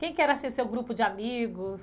Quem que era seu grupo de amigos?